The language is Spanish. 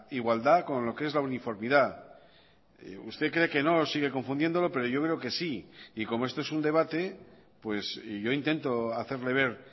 igualdad con lo que es la uniformidad usted cree que no sigue confundiéndolo pero yo creo que sí y como esto es un debate pues yo intento hacerle ver